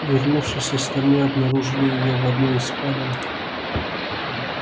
вернувшись остальные обнаружили её в одной из спален